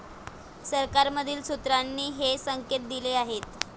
सरकारमधील सूत्रांनी हे संकेत दिले आहेत.